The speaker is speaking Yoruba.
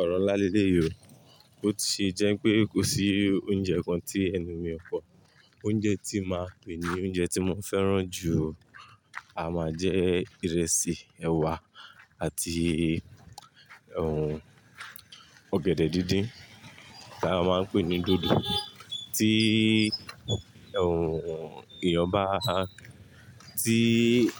Ọ̀rọ̀ ńlá léyìí o. Ó ti jẹ́ pé kò sí oúnjẹ kan tí ẹnu mi ò pọ̀. Oúnjẹ tí màá jè ní oúnjẹ tí mo fẹ́ràn jù a máa jẹ́ ìrẹsì, ẹ̀wà àti òhún ọ̀gẹ̀dẹ̀ díndín tí a máa ń pè ní dòdò. Tí òhún èèyàn bá, tí